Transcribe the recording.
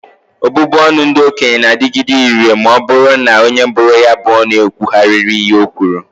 Obubu ọnụ ndị okenye n'adịgide ire wee rue na onye bụrụ ya bụ ọnụ ekwugharịa ihe o kwuru